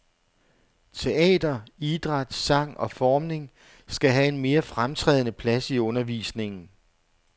Teater, idræt, sang og formning skal have en mere fremtrædende plads i undervisningen.